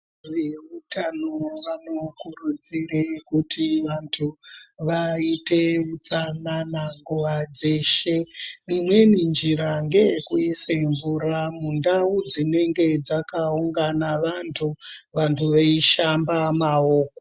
Veutano vanokurudzire kuti vantu vaite utsanana nguva dzeshe. Imweni njira ngeekuise mvura mundau dzinenge dzakaungana vantu, vantu veishamba maoko.